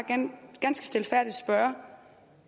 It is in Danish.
ganske stilfærdigt spørge